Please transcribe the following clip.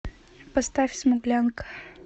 поставь смуглянка